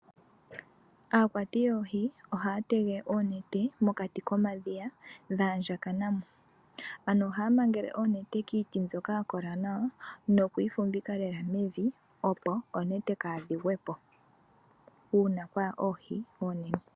Aakwati yoohi ohaya tege oonete mokati komadhiya dhaandjakanamo. Ano ohaya mangele oonete kiiti mbyoka yakola nawa nokuyi fumvika mevi, opo oonete kadhi gwepo uuna kwaya oohi oonene.